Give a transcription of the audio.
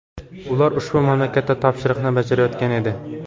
Ular ushbu mamlakatda topshiriqni bajarayotgan edi.